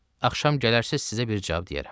Axşam gələrsiz, sizə bir cavab deyərəm.